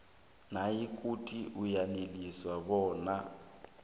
nayikuthi uyaneliswa bona